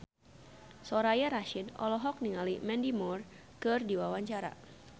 Soraya Rasyid olohok ningali Mandy Moore keur diwawancara